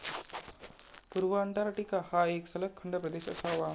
पूर्व अंटार्टिका हा एक सलग खंडप्रदेश असावा.